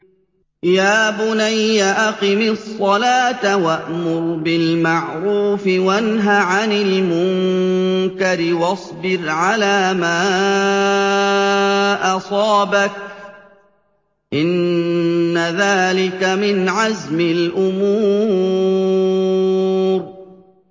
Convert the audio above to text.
يَا بُنَيَّ أَقِمِ الصَّلَاةَ وَأْمُرْ بِالْمَعْرُوفِ وَانْهَ عَنِ الْمُنكَرِ وَاصْبِرْ عَلَىٰ مَا أَصَابَكَ ۖ إِنَّ ذَٰلِكَ مِنْ عَزْمِ الْأُمُورِ